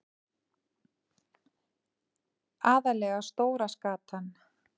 Aðallega stóra skatan.